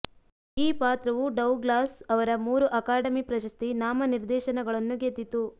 ಈ ಪಾತ್ರವು ಡೌಗ್ಲಾಸ್ ಅವರ ಮೂರು ಅಕಾಡೆಮಿ ಪ್ರಶಸ್ತಿ ನಾಮನಿರ್ದೇಶನಗಳನ್ನು ಗೆದ್ದಿತು